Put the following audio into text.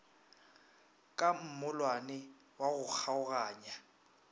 ka mollwane wa go kgaoganya